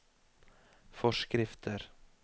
forskrifter